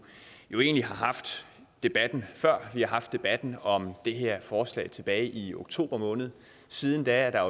haft debatten før vi har haft debatten om det her forslag tilbage i oktober måned siden da er der